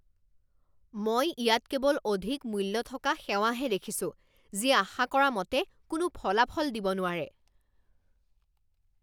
মই ইয়াত কেৱল অধিক মূল্য থকা সেৱাহে দেখিছো যি আশা কৰা মতে কোনো ফলাফল দিব নোৱাৰে।